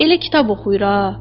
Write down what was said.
Elə kitab oxuyur ha.